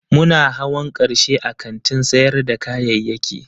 Muna hawan karshe a kantin sayar da kayayyaki